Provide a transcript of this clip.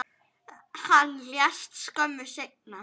Hann lést skömmu seinna.